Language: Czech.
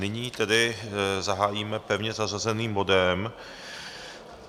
Nyní tedy zahájíme pevně zařazeným bodem